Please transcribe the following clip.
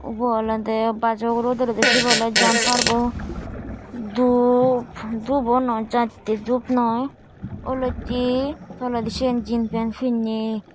ubo olode bazo ugure udelloi de sibe awle jampar bo dup dup o noi jatte dup noi oloitte toledi sen jinpen pinney.